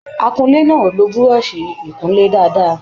Akúnlé náà o ló búrọ́sì ikunlé dáadáa.